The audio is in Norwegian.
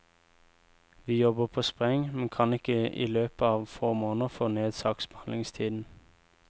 Vi jobber på spreng, men kan ikke i løpet av få måneder få ned saksbehandlingstiden.